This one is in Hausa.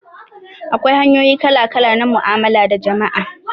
Akwai hanyoyi kala-kala na mu'amala da jama'a.